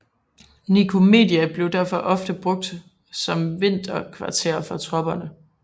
Nikomedia blev derfor ofte brugt som vinterkvarter for tropper